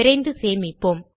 விரைந்து சேமிப்போம்